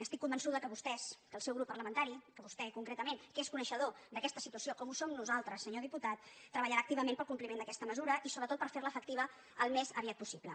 estic convençuda que vostès que el seu grup parla·mentari que vostè concretament que és coneixedor d’aquesta situació com ho som nosaltres senyor dipu·tat treballarà activament pel compliment d’aquesta me·sura i sobretot per fer·la efectiva al més aviat possible